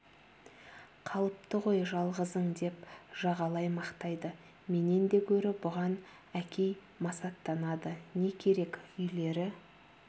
қалыпты ғой жалғызың деп жағалай мақтайды менен де гөрі бұған әкей масаттанады не керек үйлері